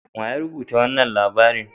Wa ya rubuta wanan labarin?